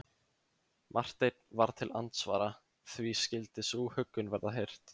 Marteinn varð til andsvara: Því skyldi sú huggun verða hirt?